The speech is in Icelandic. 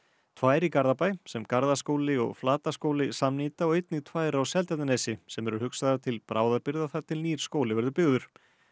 tvær í Garðabæ sem Garðaskóli og Flataskóli samnýta og einnig tvær á Seltjarnarnesi sem eru hugsaðar til bráðabirgða þar til nýr skóli verður byggður